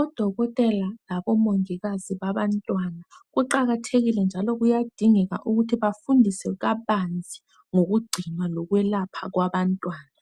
Odokotela labomongikazi babantwana . Kuqakathekile njalo kuyadingeka ukuthi bafundiswe kabanzi ngokugcinwa lokwelapha kwabantwana .